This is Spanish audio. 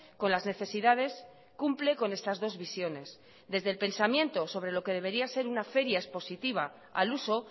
con las necesidades cumple con estas dos visiones desde el pensamiento sobre lo que debería ser una feria expositiva al uso